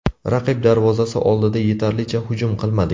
Raqib darvozasi oldida yetarlicha hujum qilmadik.